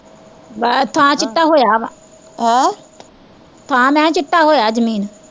ਬ ਐ ਥਾਂ ਚਿੱਟਾ ਹੋਇਆ ਵਾਂ ਹਮ ਥਾਂ ਮੈਂ ਕਿਹਾ ਚਿੱਟਾ ਹੋਈਆ ਜ਼ਮੀਨ